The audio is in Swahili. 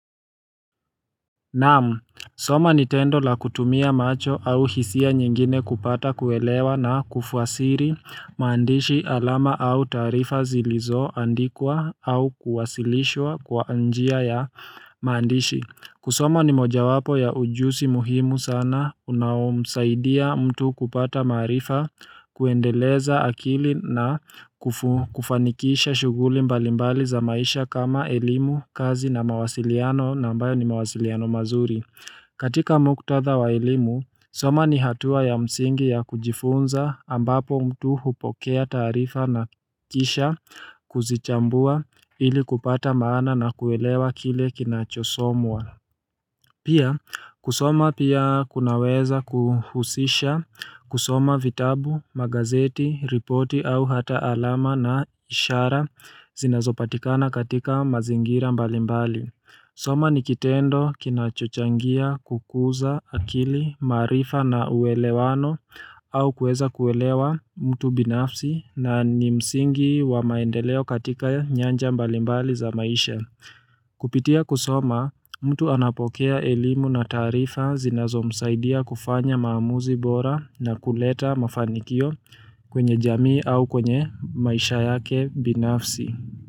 Naam, soma ni tendo la kutumia macho au hisia nyingine kupata kuelewa na kufuasiri maandishi alama au taarifa zilizoandikwa au kuwasilishwa kwa njia ya mqandishi kusoma ni moja wapo ya ujusi muhimu sana unaomsaidia mtu kupata maarifa kuendeleza akili na kufanikisha shuguli mbalimbali za maisha kama elimu, kazi na mawasiliano na ambayo ni mawasiliano mazuri. Katika muktatha wa elimu, soma ni hatua ya msingi ya kujifunza ambapo mtu hupokea taarifa na kisha kuzichambua ili kupata maana na kuelewa kile kinachosomwa. Pia, kusoma pia kunaweza kuhusisha, kusoma vitabu, magazeti, ripoti au hata alama na ishara zinazopatikana katika mazingira mbalimbali. Soma ni kitendo kinachochangia kukuza akili maarifa na uwelewano au kuweza kuelewa mtu binafsi na ni msingi wa maendeleo katika nyanja mbalimbali za maisha. Kupitia kusoma, mtu anapokea elimu na taarifa zinazo msaidia kufanya maamuzi bora na kuleta mafanikio kwenye jamii au kwenye maisha yake binafsi.